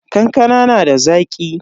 Kankanan da Zaki?